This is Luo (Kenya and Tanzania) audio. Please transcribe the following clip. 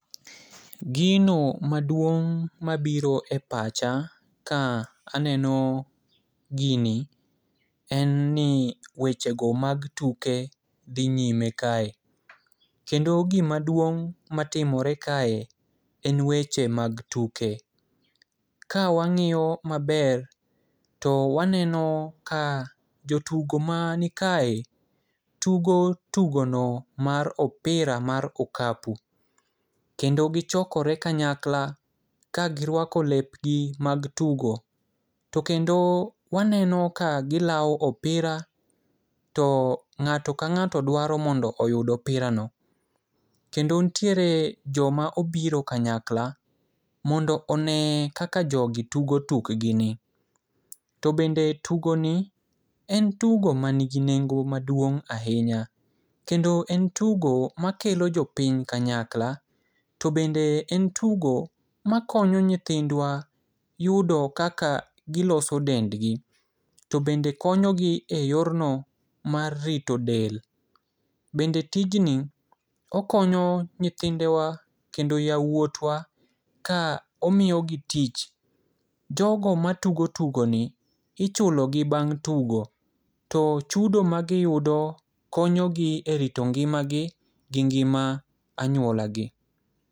Gino maduong' mabiro e pacha ka aneno gini en ni wechego mag tuke dhi nyime kae. Kendo gimaduong' matimore kae en weche mag tuke. Kawang'iyo maber to waneno ka jotugo manikae tugo tugono mar opira mar okapu kendo gichokore kanyakla ka girwako lepgi mag tugo, to kendo waneno ka gilawo opira to ng'ato ka ng'ato dwaro mondo oyud opirano, kendo nitiere joma obiro kanyakla mondo one kaka jogi tugo tukgini. To bende tugoni en tugo manigi nengo maduong' ahinya kendo en tugo makelo jopiny kanyakla to bende en tugo makonyo nyithindwa yudo kaka giloso dendgi, to bende konyogi e yorno mar rito del. bende tijni okonyo nyithindwa kendo yawuotwa ka omiyogi tich. Jogo matugo tugoni ichulogi bang' tugo, to chudo magiyudo konyogi e rito ngimagi gi ngima anyuolagi.